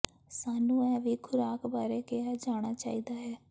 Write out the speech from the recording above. ਸਾਨੂੰ ਇਹ ਵੀ ਖੁਰਾਕ ਬਾਰੇ ਕਿਹਾ ਜਾਣਾ ਚਾਹੀਦਾ ਹੈ